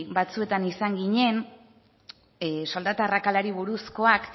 batzuetan izan ginen soldata arrakalari buruzkoak